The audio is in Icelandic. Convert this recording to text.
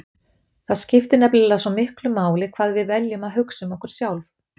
Það skiptir nefnilega svo miklu máli hvað við veljum að hugsa um okkur sjálf.